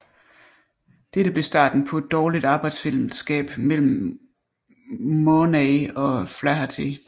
Dette blev starten på et dårligt arbejdsfælleskab mellem Murnay og Flaherty